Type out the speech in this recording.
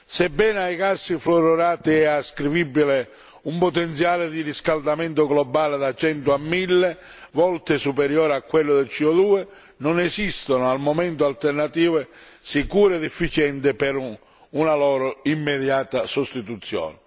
Sebbene ai casi fluorurati è ascrivibile un potenziale di riscaldamento globale da 100 a 1000 volte superiore a quello di CO 2 non esistono al momento alternative sicure ed efficienti per una loro immediata sostituzione.